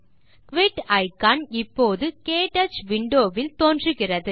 quit icon இப்போது க்டச் window வில் தோன்றுகிறது